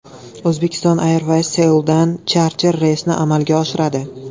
Uzbekistan Airways Seuldan charter reysni amalga oshiradi.